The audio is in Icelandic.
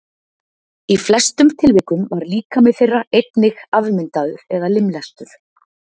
Í flestum tilvikum var líkami þeirra einnig afmyndaður eða limlestur.